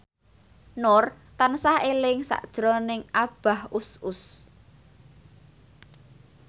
Nur tansah eling sakjroning Abah Us Us